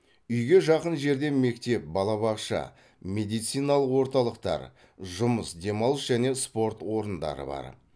үйге жақын жерде мектеп балабақша медициналық орталықтар жұмыс демалыс және спорт орындары бар